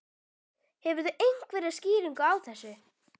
Hefurðu einhverja skýringu á þessu?